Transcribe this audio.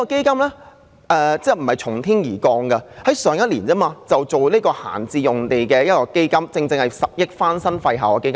這基金並非從天而降，因政府去年也成立了處理閒置用地的基金，撥出10億元翻新廢置校舍。